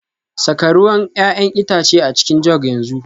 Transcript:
Saka ruwan 'ya'yan itace a cikin jug yanzu